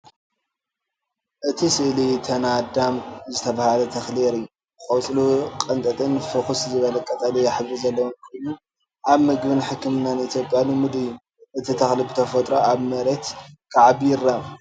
እቲ ስእሊ ተናዳም ዝተባህለ ተኽሊ የርኢ። ቆጽሉ ቀጢንን ፍኹስ ዝበለ ቀጠልያ ሕብሪ ዘለዎን ኮይኑ፡ ኣብ መግብን ሕክምናን ኢትዮጵያ ልሙድ እዩ። እቲ ተኽሊ ብተፈጥሮ ኣብ መሬት ክዓቢ ይረአ።